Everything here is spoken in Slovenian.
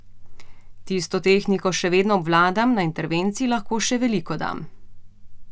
Tisto tehniko še vedno obvladam, na intervenciji lahko še veliko dam.